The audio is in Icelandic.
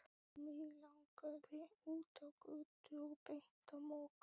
Mig langaði út á götu og beint á Mokka.